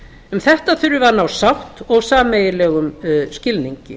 um þetta þurfum við að ná sátt og sameiginlegum skilningi